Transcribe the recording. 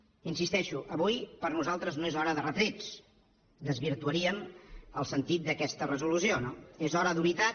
hi insisteixo avui per nosaltres no és hora de retrets desvirtuaríem el sentit d’aquesta resolució no és hora d’unitat